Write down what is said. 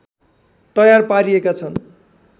तयार पारिएका छन्